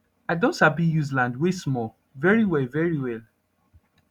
i don sabi use land wey small very well very well